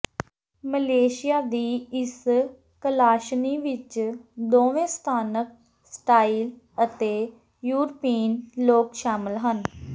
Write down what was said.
Malaysia ਦੀ ਇਸ ਕਲਾਸ਼ਨੀ ਵਿੱਚ ਦੋਵੇਂ ਸਥਾਨਕ ਸਟਾਈਲ ਅਤੇ ਯੂਰਪੀਨ ਲੋਕ ਸ਼ਾਮਲ ਹਨ